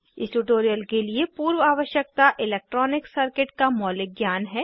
इस ट्यूटोरियल के लिए पूर्व आवश्यकता इलैक्ट्रॉनिक सर्किट का मौलिक ज्ञान है